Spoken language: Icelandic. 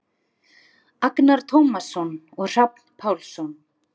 Agnar Tómasson og Hrafn Pálsson.